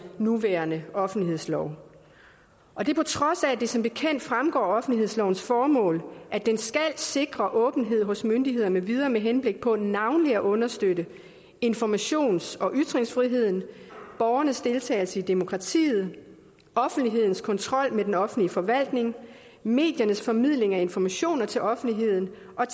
nuværende offentlighedslov og det er på trods af at det som bekendt fremgår af offentlighedslovens formål at den skal sikre åbenhed hos myndigheder med videre med henblik på navnlig at understøtte informations og ytringsfriheden borgernes deltagelse i demokratiet offentlighedens kontrol med den offentlige forvaltning mediernes formidling af informationer til offentligheden og